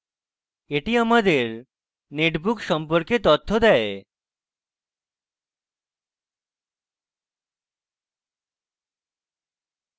এটি আমাদের netbook সম্পর্কে তথ্য দেয়